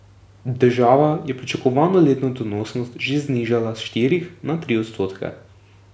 Država je pričakovano letno donosnost že znižala s štirih na tri odstotke.